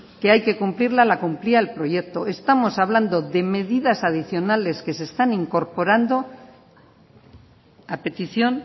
que hay que cumplirla la cumplía el proyecto estamos hablando de medidas adicionales que se están incorporando a petición